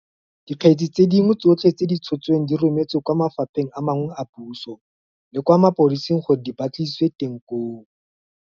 Dikgetse tse dingwe tsotlhe tse di tshotsweng di rometswe kwa mafapheng a mangwe a puso le kwa mapodising gore di ba tlisisiwe teng koo.